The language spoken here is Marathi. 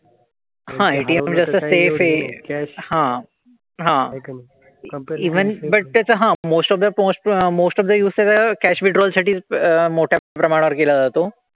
हां ATM तसं safe आहे. हां. हां. Even but कसं हां. most of the most of the use त्याचं cash withdrawal साठी अह मोठ्या प्रमाणावर केला जातो.